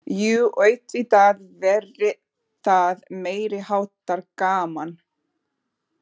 Jú auðvitað væri það meiriháttar gaman.